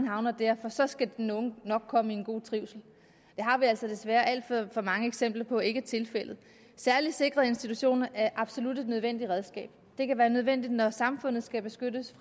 havner der for så skal den unge nok komme i en god trivsel det har vi altså desværre alt for mange eksempler på ikke er tilfældet særlig sikrede institutioner er absolut et nødvendigt redskab det kan være nødvendigt når samfundet skal beskyttes